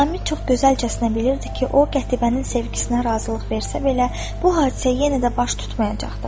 Nizami çox gözəlcəsinə bilirdi ki, o Qətibənin sevgisinə razılıq versə belə, bu hadisə yenə də baş tutmayacaqdır.